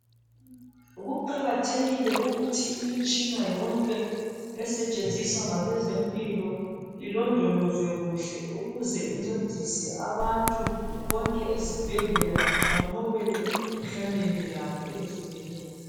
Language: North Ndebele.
Kuqakathekile ukuthi imitshina yonke esetshenziswa ngabezempilo ilondolozwe kuhle .Ukuze incedise abantu bonke ezibhedlela banqobele emikhuhlaneni yabo , emikhuhlaneni yabo ehlukeneyo.